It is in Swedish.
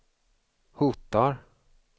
hotar